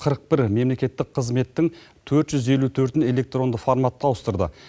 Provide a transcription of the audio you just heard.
қырық бір мемлекеттік қызметтің төрт жүз елу төртін электронды форматқа ауыстырды